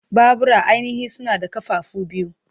Babura ainihi suna da ƙafafu biyu.